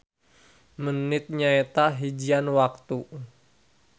Menit nyaeta hijian waktu